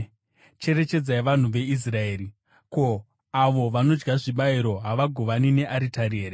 Cherechedzai vanhu veIsraeri: Ko, avo vanodya zvibayiro havagovani nearitari here?